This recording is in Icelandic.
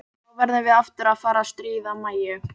Þá verðum við aftur að fara að stríða Mæju.